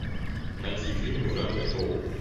найти фильмы в жанре шоу